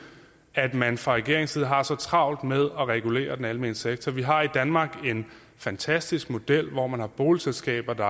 at man fra regeringens side har så travlt med at regulere den almene sektor vi har i danmark en fantastisk model hvor man har boligselskaber der